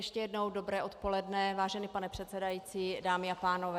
Ještě jednou dobré odpoledne, vážený pane předsedající, dámy a pánové.